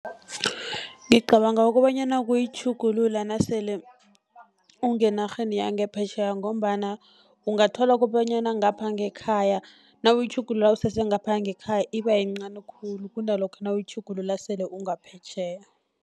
Ngicabanga kobanyana kuyitjhugulula nasele ungenarheni yangaphetjheya, ngombana ungathola kobanyana ngapha ngekhaya, nawuyitjhugulula usese ngapha ngekhaya iba yincani khulu, kunalokha nawuyitjhugulula sele ungaphetjheya.